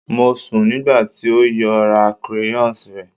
Mo sun nigba ti o yoo ra crayons rẹ